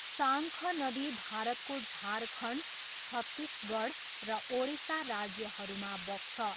साङ्ख नदी भारतको झारखण्ड, छत्तिसगढ र ओडिसा राज्यहरूमा बग्छ।